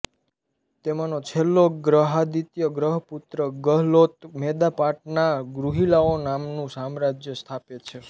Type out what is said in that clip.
તેમાંનો છેલ્લો ગ્રહાદિત્ય ગ્રહપુત્ર ગેહલોત મેદપાટનાં ગુહિલાઓ નામનું સામ્રાજ્ય સ્થાપે છે